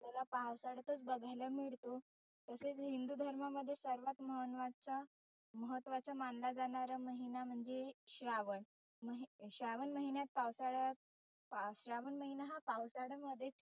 ला पावसातच बघायला मिळतात. तसेच हिंदु धर्मामध्ये सर्वात मानवाचा महत्वाचा मानला जाणारा महिना म्हणजे श्रावण. मग श्रावण महिन्यात पावसाळ्यात श्रावण महिना हा पावसाळ्यामध्ये